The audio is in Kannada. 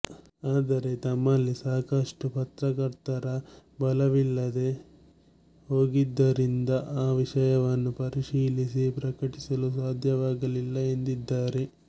ಆದರೆ ತಮ್ಮಲ್ಲಿ ಸಾಕಷ್ಟು ಪತ್ರಕರ್ತರ ಬಲವಿಲ್ಲದೇ ಹೊಗಿದ್ದರಿಂದ ಆ ವಿಷಯವನ್ನು ಪರಿಶೀಲಿಸಿ ಪ್ರಕಟಿಸಲು ಸಾಧ್ಯವಾಗಿಲ್ಲ ಎಂದಿದ್ದಾರೆ